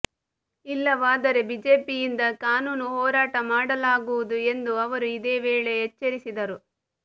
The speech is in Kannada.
ಇಲ್ಲವಾದರೆ ಬಿಜೆಪಿಯಿಂದ ಕಾನೂನು ಹೋರಾಟ ಮಾಡಲಾಗುವುದು ಎಂದು ಅವರು ಇದೇ ವೇಳೆ ಎಚ್ಚರಿಸಿದರು